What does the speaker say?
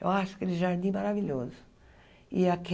Eu acho aquele jardim maravilhoso. E